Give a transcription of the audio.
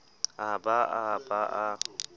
a ba a ba a